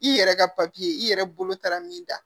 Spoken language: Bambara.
I yɛrɛ ka i yɛrɛ bolo taara min da